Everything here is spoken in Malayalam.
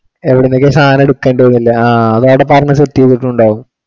എവിടെന്നൊക്കെയോ സാധനം എടുക്കേണ്ടതെന്ന് അല്ലെ ആ അത് അവിടെ പറഞ്ഞു set ചെയ്തിട്ടുണ്ടാവും